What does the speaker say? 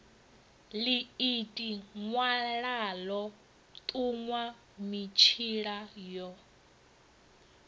ḽiiti ṅwalaḽo ṱuṅwa mitshila yo